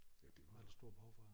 Ja det var der